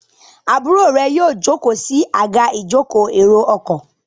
Àbúrò rẹ yíò joko sí Àga ìjókòó èrò ọkọ̀.